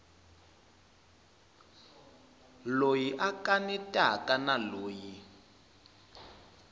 loyi a kanetaka na loyi